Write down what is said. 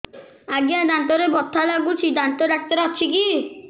ଆଜ୍ଞା ଦାନ୍ତରେ ବଥା ଲାଗୁଚି ଦାନ୍ତ ଡାକ୍ତର ଅଛି କି